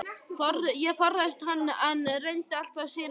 Ég forðaðist hann, en reyndi alltaf að sýna honum kurteisi.